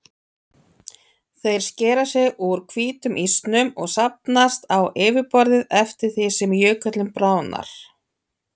Þeir skera sig úr hvítum ísnum og safnast á yfirborðið eftir því sem jökullinn bráðnar.